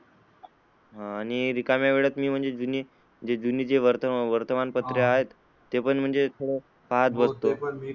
आणि रिकाम्या वेळात मी जे जुने जे वर्तमान पत्र आहेत ते पण म्हणजे, पाहत बसतो.